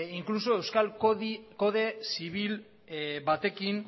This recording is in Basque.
inkluso euskal kode zibil batekin